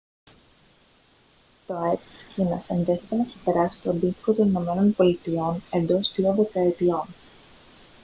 το αεπ της κίνας ενδέχεται να ξεπεράσει το αντίστοιχο των ηνωμένων πολιτειών εντός δύο δεκαετιών